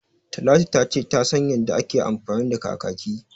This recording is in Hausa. Talatu ta ce ta san yanda ake amfani da kakaki